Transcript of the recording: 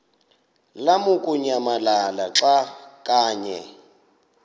lamukunyamalala xa kanye